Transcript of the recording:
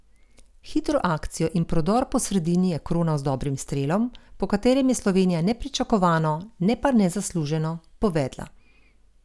Hitro akcijo in prodor po sredini je kronal z dobrim strelom, po katerem je Slovenija nepričakovano, ne pa nezasluženo, povedla.